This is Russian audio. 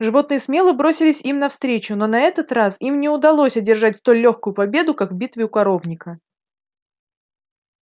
животные смело бросились им навстречу но на этот раз им не удалось одержать столь лёгкую победу как в битве у коровника